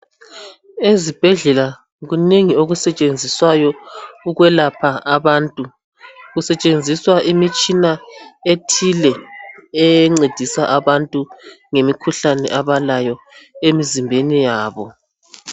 ezibhedlela kunengi okusetshenziswayo ukwelapha abantu kusetshenziswa imitshina ethile encedisa abantu ngemikhuhlane abalayo emizimbeni yabo